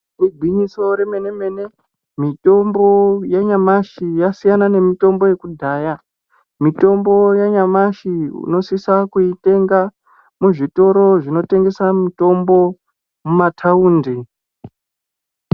Igwinyiso remene-mene, mitombo yanyamashi yasiyana nemitombo yekudhaya. Mitombo yanyamashi unosisa kuitenga, muzvitoro zvinotengesa mitombo mumathaundi.